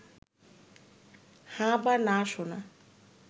হ্যাঁ বা না শোনা